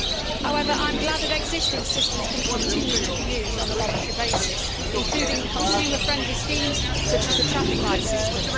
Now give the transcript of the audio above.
However, I am glad that existing systems can continue to be used on a voluntary basis, including consumer friendly schemes such as the traffic light system.